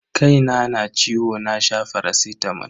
Kaina na ciwo na sha faracitamol.